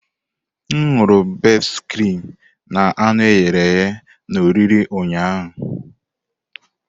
M ṅụru bestị krim na anụ eghere eghe na oriri ụnyaahụ.